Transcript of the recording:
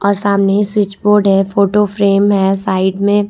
और सामने ही स्विच बोर्ड है फोटो फ्रेम में साइड में।